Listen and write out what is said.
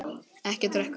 Ekki drekka.